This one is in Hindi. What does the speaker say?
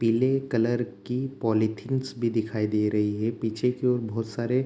पीले कलर की पॉलीथींस भी दिखाई दे रही हैं पीछे की ओर बहुत सारे --